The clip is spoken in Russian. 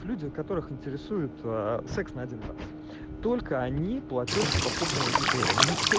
люди которых интересует секс на один раз только они платёжеспособная аудитория никто